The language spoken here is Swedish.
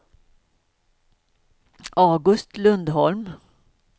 August Lundholm